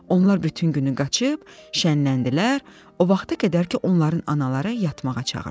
Onlar bütün günü qaçıb, şənləndilər, o vaxta qədər ki, onların anaları yatmağa çağırdı.